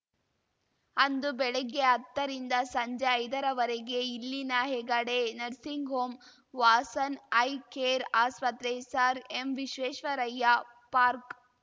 ಅಂದು ಬೆಳಿಗ್ಗೆ ಹತ್ತರಿಂದ ಸಂಜೆ ಐದರವರೆಗೆ ಇಲ್ಲಿನ Hegde nursing home Vasan I care ಆಸ್ಪತ್ರೆ ಸರ್‌ ಎಂವಿಶ್ವೇಶ್ವರಯ್ಯ ಪಾರ್ಕ್